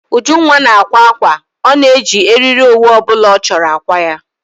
Ujunwa na-akwa ákwà. Ọ na eji eriri owu obula ọ chọrọ akwa ya